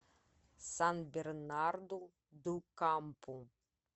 сан бернарду ду кампу